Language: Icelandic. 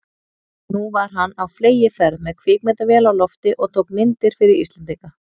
Nú var hann á fleygiferð með kvikmyndavél á lofti og tók myndir fyrir Íslendinga.